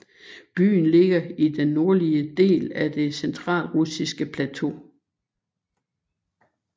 Byen ligger i den nordlige del af Det centralrussiske plateau